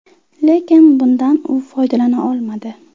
Lekin bundan u foydalana olmadi.